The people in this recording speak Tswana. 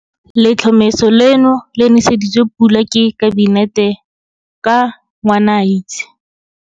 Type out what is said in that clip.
Letlhomeso leno le nese ditswe pula ke Kabinete ka Ngwanaitse.